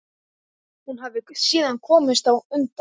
Hún hafi síðan komist undan.